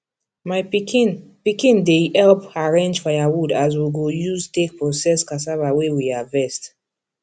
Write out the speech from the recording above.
my pikin pikin dey help arrange firewood wey we go use take process cassava wey we harvest